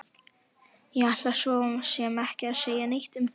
Ég ætla svo sem ekki að segja neitt um það!